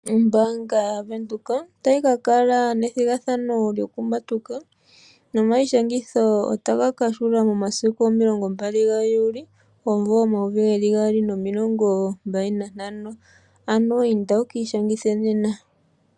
Ombaanga yaVenduka otayi kakala nethigathano lyokumatuka. Oma yi shangitho o ta ga kahula momasiku omilongombali ga juuli omumvo omayovi gaali nomilongombali nantano, ano inda wu ki ishangithe nena.